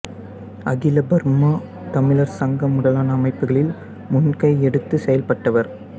அகில பர்மா தமிழர் சங்கம் முதலான அமைப்புகளில் முன்கை எடுத்துச் செயல்பட்டவர்